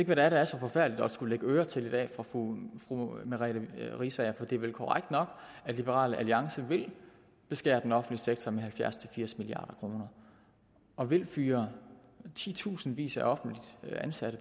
hvad det er der er så forfærdeligt at skulle lægge øre til i dag for fru merete riisager for det er vel korrekt at liberal alliance vil beskære den offentlige sektor med halvfjerds til firs milliard kroner og vil fyre titusindvis af offentligt ansatte